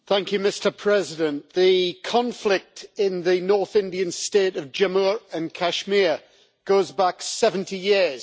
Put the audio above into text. Mr President, the conflict in the north Indian state of Jammu and Kashmir goes back 70 years.